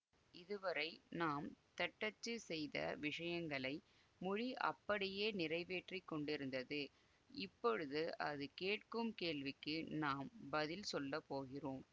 இதுவரை நாம் தட்டச்சு செய்த விஷயங்களை மொழி அப்படியே நிறைவேற்றிக்கொண்டிருந்தது இப்பொழுது அது கேட்கும் கேள்விக்கு நாம் பதில் சொல்லப்போகிறோம்